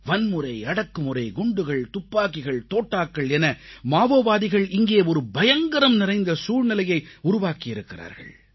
வன்முறை அடக்குமுறை குண்டுகள் துப்பாக்கிகள் தோட்டாக்கள் என மாவோவாதிகள் இங்கே ஒரு பயங்கரம் நிறைந்த சூழ்நிலையை உருவாக்கி இருக்கிறார்கள்